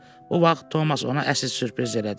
Bu vaxt Tomas ona əsil sürpriz elədi.